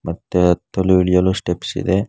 ಮತ್ತೆ ಹತ್ತಲು ಇಳಿಯಲು ಸ್ಟೆಪ್ಸ್ ಇದೆ.